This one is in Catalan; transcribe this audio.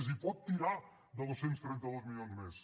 és a dir pot tirar de dos cents i trenta dos milions més